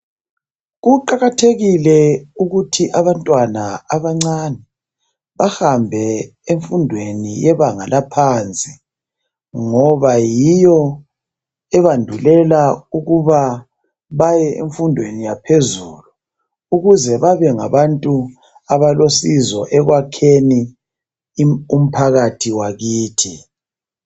Kuqakathekile ukuthi abantwana abancane bahambe emfundweni yebanga laphansi ngoba yiyo ebandulela ukuba baye emfundweni yaphezulu ukuze babe ngabantu abalosizo ekwakheni umphakathi wakithi.